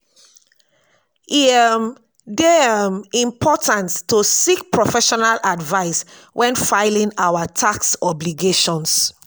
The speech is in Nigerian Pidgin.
e um dey um important to seek professional advice when filing our tax obligations.